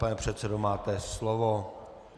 Pane předsedo, máte slovo.